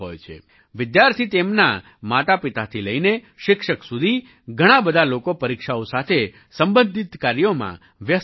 વિદ્યાર્થી તેમનાં માતાપિતાથી લઈને શિક્ષક સુધી ઘણા બધા લોકો પરીક્ષાઓ સાથે સંબંધિત કાર્યોમાં વ્યસ્ત રહે છે